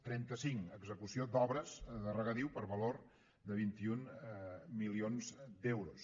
trenta cinc execució d’obres de regadiu per valor de vint un milions d’euros